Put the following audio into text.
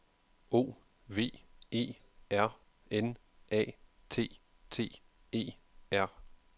O V E R N A T T E R